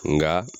Nka